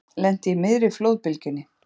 Lenti í miðri flóðbylgjunni